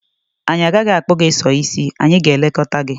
Anyị agaghị akpụ gị sọ ísí, anyị gà-elekọta gị.